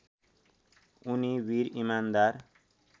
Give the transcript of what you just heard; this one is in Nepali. उनी वीर इमान्दार